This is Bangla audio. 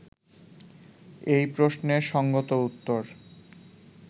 এই প্রশ্নের সঙ্গত উত্তর